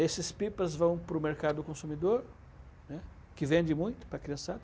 Esses pipas vão para o mercado consumidor, né, que vende muito para a criançada.